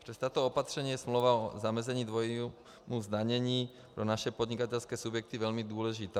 Přes tato opatření je smlouva o zamezení dvojímu zdanění pro naše podnikatelské subjekty velmi důležitá.